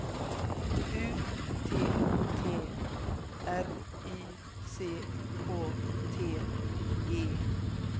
U T T R Y C K T E